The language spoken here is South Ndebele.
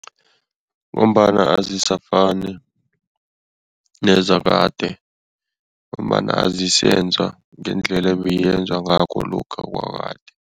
Ngombana azisafani nezakade ngombana azisenziwa ngendlela ebeyenzwa ngakho lokha kwakade.